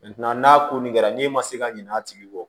n'a ko nin kɛra n'e ma se ka ɲinɛ a tigi kɔ